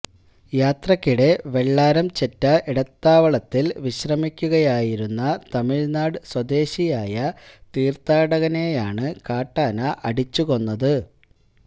യാത്രക്കിടെ വെള്ളാരംചെറ്റ ഇടത്താവളത്തില് വിശ്രമിക്കുകയായിരുന്ന തമിഴ്നാട് സ്വദേശിയായ തീര്ഥാടകനെയാണ് കാട്ടാന അടിച്ചു കൊന്നത്